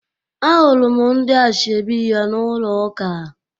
Ahụrụ m ndị ashebi ya n'ụlọ ụka